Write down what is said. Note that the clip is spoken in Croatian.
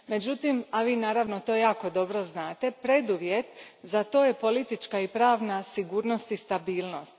Međutim, a vi naravno to jako dobro znate, preduvjet za to je politička i pravna sigurnost i stabilnost.